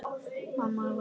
Mamma var engri lík.